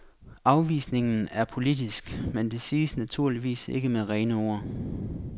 Afvisningen er politisk, men det siges naturligvis ikke med rene ord.